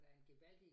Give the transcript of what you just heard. Og endda en gevaldig